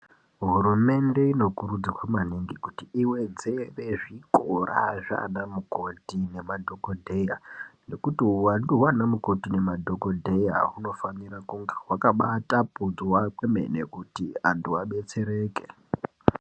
Hurumende inokurudzirwa maningi kuti iwedzere zvikora zvaana mukoti nemadhokodheya nekuti huwandu hwana mukoti nemadhokodheya hunofanira kunga hwakabaatapudzwa kwemene kuti anhu abetsereke.